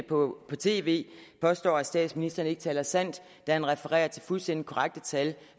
på tv påstod at statsministeren ikke talte sandt da han refererede til fuldstændig korrekte tal